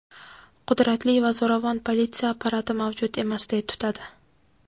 qudratli va zo‘ravon politsiya apparati mavjud emasday tutadi.